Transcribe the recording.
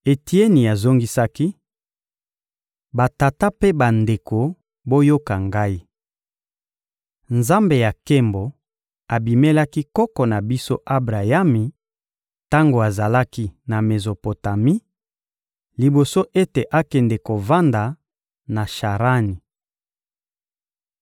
Etieni azongisaki: — Batata mpe bandeko, boyoka ngai! Nzambe ya nkembo abimelaki koko na biso Abrayami tango azalaki na Mezopotami, liboso ete akende kovanda na Sharani.